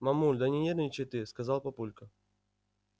мамуль да не нервничай ты сказал папулька